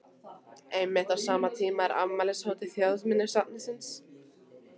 Einmitt á sama tíma er afmælishátíð Þjóðminjasafnsins í